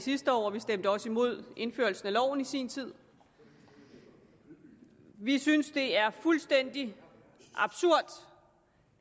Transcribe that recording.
sidste år og vi stemte også imod indførelsen af loven i sin tid vi synes det er fuldstændig absurd